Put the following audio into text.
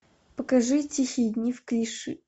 покажи тихие дни в клиши